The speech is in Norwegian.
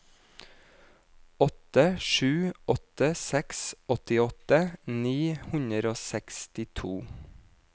åtte sju åtte seks åttiåtte ni hundre og sekstito